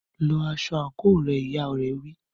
Lọ aṣọ àǹkóò rẹ, ìyá rẹ̀ wí.